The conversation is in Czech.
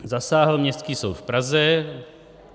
Zasáhl Městský soud v Praze.